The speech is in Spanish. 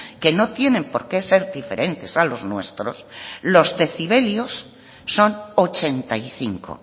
que no tienen por qué ser diferentes a los nuestros los decibelios son ochenta y cinco